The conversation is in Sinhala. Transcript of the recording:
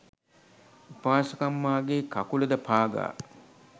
උපාසකම්මාගේ කකුලද පාගා